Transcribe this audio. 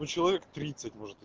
ну человек тридцать может